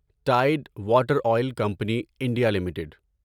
tied Water Oil Company India limited